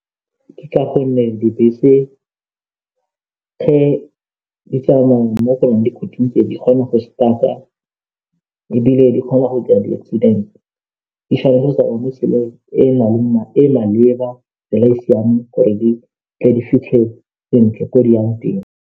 Ke ka gonne dibese ge di tsamaya mo go nang ga di kgona go start ebile di kgona go kry-a di-accident di tshwanetse go tsamaya mo tseeleng e e maleba, tsela e e siameng gore di tle di fitlhe sentle ko di yang teng.